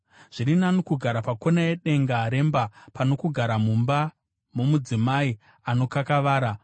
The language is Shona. Zviri nani kugara pakona yedenga remba, pano kugara mumba nomudzimai anokakavara.